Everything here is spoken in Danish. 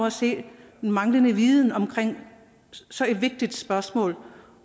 at se en manglende viden om så vigtigt et spørgsmål